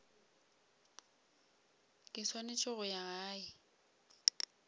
ke swanetse go ya gae